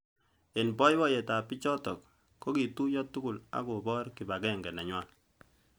Eng boiboyet ab bichotok kokituyo tugul ak kobor kibagenge nenywa.